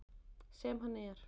Sem hann er.